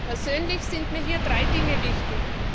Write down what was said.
Persönlich sind mir hier drei Dinge wichtig.